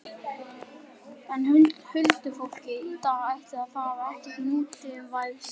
En huldufólkið í dag, ætli það hafi ekkert nútímavæðst?